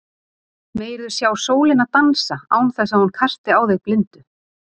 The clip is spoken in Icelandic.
Megir þú sjá sólina dansa án þess að hún kasti á þig blindu.